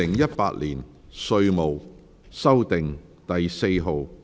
《2018年稅務條例草案》。